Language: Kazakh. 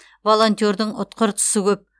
волонтердің ұтқыр тұсы көп